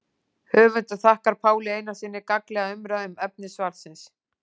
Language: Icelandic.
Höfundur þakkar Páli Einarssyni gagnlega umræðu um efni svarsins.